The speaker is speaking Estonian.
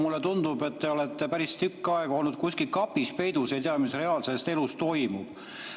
Mulle tundub, et te olete päris tükk aega olnud kuskil kapis peidus ega tea, mis reaalses elus toimub.